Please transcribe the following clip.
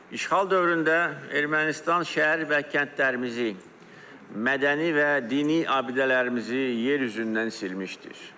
İşğal dövründə Ermənistan şəhər və kəndlərimizi, mədəni və dini abidələrimizi yer üzündən silmişdir.